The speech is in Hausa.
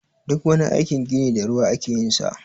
Duk wani aikin gini da ruwa ake yin sa.